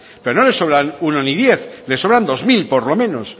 pero no le sobran uno ni diez le sobran dos mil por lo menos